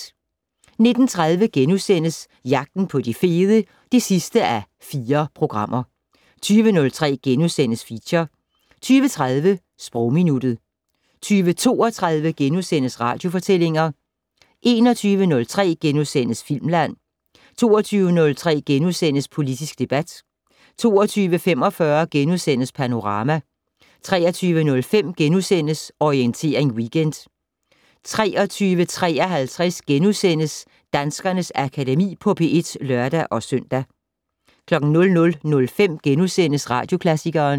19:30: Jagten på de fede (4:4)* 20:03: Feature * 20:30: Sprogminuttet 20:32: Radiofortællinger * 21:03: Filmland * 22:03: Politisk debat * 22:45: Panorama * 23:05: Orientering Weekend * 23:53: Danskernes Akademi på P1 *(lør-søn) 00:05: Radioklassikeren *